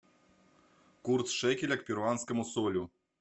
курс шекеля к перуанскому солю